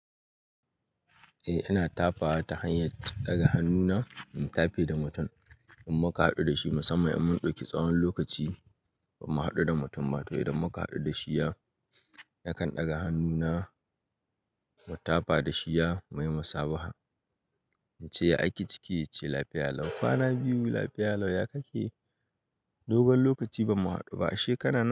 Eh, ina tafawa ta hanyar ɗaga hannuna in tafe da mutum in muka haɗu da shi. Musamman idan mun ɗauki tsawon lokaci bamu haɗu da mutum ba. To idan muka haɗu da shi, ya na kan ɗaga hannuna mu tafa da shi ya muyi musabaha. Na ce, "Ya ake ciki?" ya ce, "Lafiya lau." "Kwana biyu lafiya lau." Ya ka ke dogon lokaci bamu haɗu ba. Ashe kana nan.